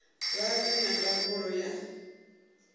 vha vhe na ndangulo ya